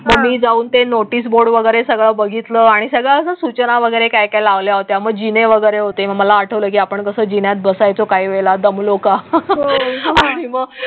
हा आम्ही जाऊन तें नोटिसबोर्ड वगैरे सगळं बघितलं आणि सगळ्या सूचना वगैरे काय काय लावल्या होत्या. मग जिने वगैरे होते. मला आठवतं की आपण कसं जिन्यात बसायचं? काही वेळा दमलो का? हो